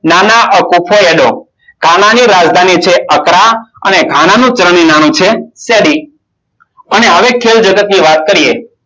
ગાના ની રાજધાની છે અક્કરા અને ગાનાનું ચલણી નાણું છે સેડી. અને હવે ખેલ જગતની વાત કરીએ.